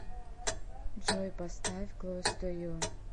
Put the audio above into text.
джой поставь клоус ту ю